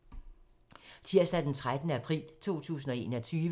Tirsdag d. 13. april 2021